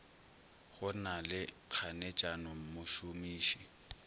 go na le kganetšano mošomiši